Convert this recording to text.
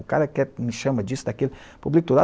O cara que me chama, disse daquilo, eu publico tudo.